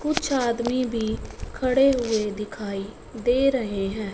कुछ आदमी भी खड़े हुए दिखाई दे रहे हैं।